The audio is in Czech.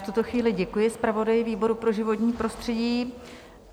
V tuto chvíli děkuji zpravodaji výboru pro životní prostředí.